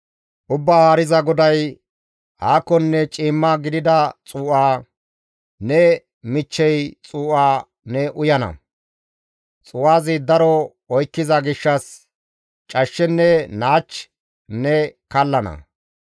«Ubbaa Haariza GODAY, « ‹Aakonne ciimma gidida xuu7a, ne michchey xuu7a ne uyana; xuu7azi daro oykkiza gishshas cashshenne naach ne kallana.